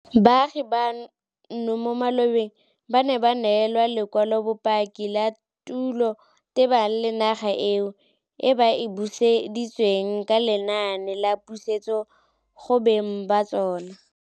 Baagi bano mo malobeng ba ne ba neelwa lekwalobopaki la tulo tebang le naga eo, e ba e buseditsweng ka lenaane la pusetsodinaga go beng ba tsona.